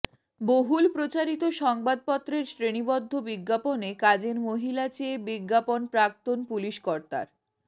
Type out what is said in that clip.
বহুল প্রচারিত সংবাদপত্রের শ্রেণিবদ্ধ বিজ্ঞাপনে কাজের মহিলা চেয়ে বিজ্ঞাপন প্রাক্তন পুলিশ কর্তার